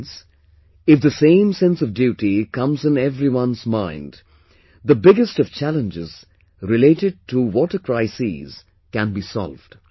Friends, if the same sense of duty comes in everyone's mind, the biggest of challenges related to water crisis can be solved